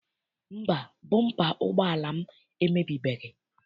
Mba, bọmpa ụgbọala m emebibeghị.